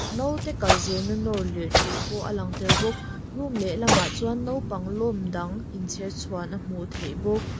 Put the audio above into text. naute kal zirna nawr lir theih pawh a lang tel bawk room lehlamah chuan naupang lawm dang inchherchhuan a hmuh theih bawk.